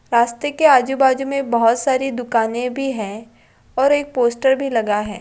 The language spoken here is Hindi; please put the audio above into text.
रास्ते के आजू-बाजू में बहुत सारी दुकानें भी हैं और एक पोस्टर भी लगा है।